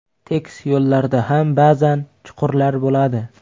Tekis yo‘llarda ham ba’zan chuqurlar bo‘ladi.